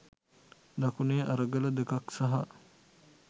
දකුණේ අරගල දෙකක් සහ